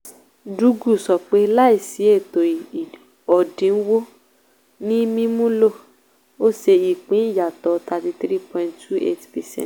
dugu sọ pé láìsí ètò òdiwọ̀n ní mímúlò ó ṣe ìpín ìyàtọ̀ thirty three point two eight percent